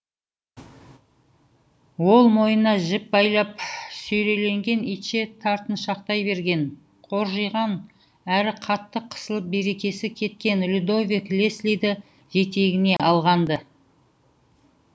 ол мойнына жіп байлап сүйрелеген итше тартыншақтай берген қоржиған әрі қатты қысылып берекесі кеткен людовик леслиді жетегіне алған ды